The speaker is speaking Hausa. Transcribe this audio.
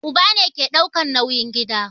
Uba ne ke daukan nauyin gida